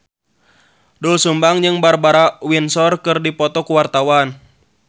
Doel Sumbang jeung Barbara Windsor keur dipoto ku wartawan